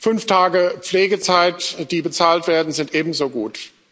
Fünf Tage Pflegezeit, die bezahlt werden, sind ebenso gut.